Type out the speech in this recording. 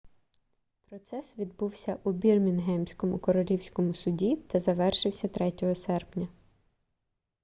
процес відбувався у бірмінгемському королівському суді та завершився 3 серпня